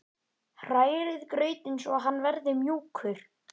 Hrærið grautinn svo hann verði mjúkur.